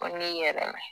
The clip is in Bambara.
Ko n'i yɛrɛ